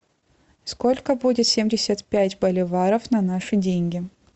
сколько будет семьдесят пять боливаров на наши деньги